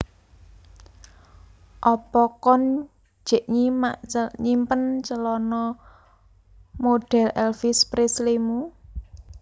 Opo koen jek nyimpen celono model Elvis Presley mu?